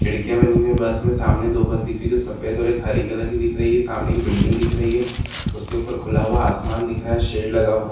खिड़कियां बनी हुई हैं बस में सामने दो बस दिख रही हैं जो सफेद और एक हरे कलर की सामने एक बिल्डिंग दिख रही है उसके ऊपर खुला हुआ आसमान दिख रहा है सेड लगा हुआ --